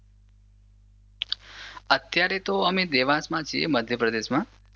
અત્યારે તો અમે દેવાંશમાં છે મધ્યપ્રદેશમાં